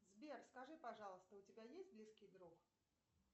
сбер скажи пожалуйста у тебя есть близкий друг